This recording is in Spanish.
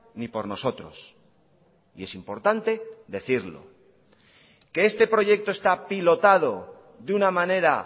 ni por nosotros y es importante decirlo que este proyecto está pilotado de una manera